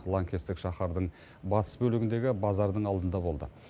лаңкестік шаһардың батыс бөлігіндегі базардың алдында болды